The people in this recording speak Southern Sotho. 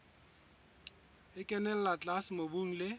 e kenella tlase mobung le